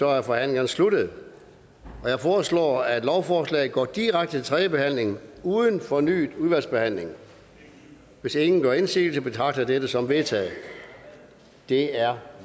er forhandlingen sluttet jeg foreslår at lovforslaget går direkte til tredje behandling uden fornyet udvalgsbehandling hvis ingen gør indsigelse betragter jeg det som vedtaget det er